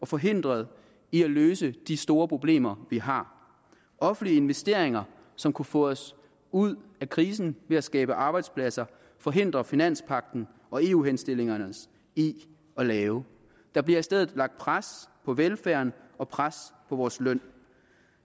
forhindret i at løse de store problemer vi har offentlige investeringer som kunne få os ud af krisen ved at skabe arbejdspladser forhindrer finanspagten og eu henstillingerne os i at lave der bliver i stedet lagt pres på velfærden og pres på vores løn